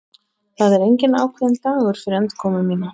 Það er enginn ákveðinn dagur fyrir endurkomu mína.